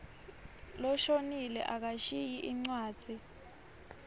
loshonile akashiyi incwadzi